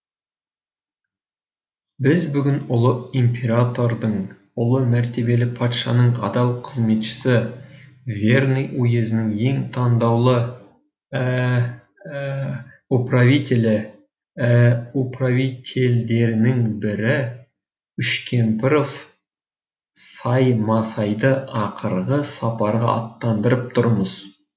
біз бүгін ұлы императордың ұлы мәртебелі патшаның адал қызметшісі верный уезінің ең тандаулы э э э управителі э э э управительдерінің бірі үшкемпіров саймасайды ақырғы сапарға аттандырып тұрмыз